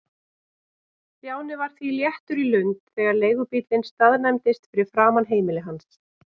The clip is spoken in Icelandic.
Stjáni var því léttur í lund þegar leigubíllinn staðnæmdist fyrir framan heimili hans.